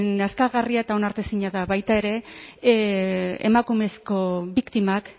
nazkagarria eta onartezina da baita ere emakumezko biktimak